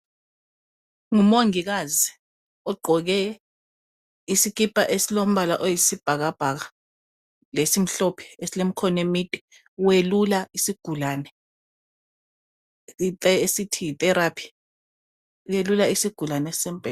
Ngumongikazi ogqoke isikipa esilombala oyisibhakabhaka lesimhlophe esilemkhono emide welula isigulane esithi yi therapy welula isigulani esisembhedeni.